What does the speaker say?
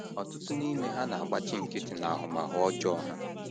Ọtụtụ n’ime ha na - agbachi nkịtị n’ahụmahụ ọjọọ ha.